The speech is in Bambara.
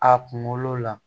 A kunkolo la